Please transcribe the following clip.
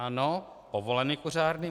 Ano, povoleny kuřárny.